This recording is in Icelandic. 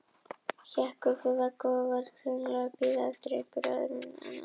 Hékk upp við vegg og var greinilega að bíða eftir einhverju öðru en afgreiðslu.